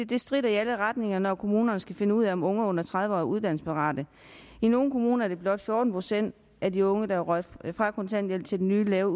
det stritter i alle retninger når kommunerne skal finde ud af om unge under tredive år er uddannelsesparate i nogle kommuner er det blot fjorten procent af de unge der er røget fra kontanthjælp til den nye lave